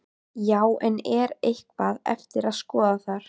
Já, en er eitthvað eftir að skoða þar?